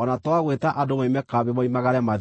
o na twa gwĩta andũ moime kambĩ moimagare mathiĩ.